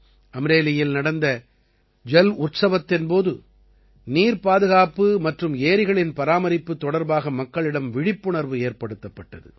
அம்ரேலியில் நடந்த ஜல் உற்சவத்தின் போது நீர் பாதுகாப்பு மற்றும் ஏரிகளின் பராமரிப்பு தொடர்பாக மக்களிடம் விழிப்புணர்வு ஏற்படுத்தப்பட்டது